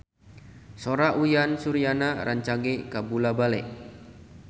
Sora Uyan Suryana rancage kabula-bale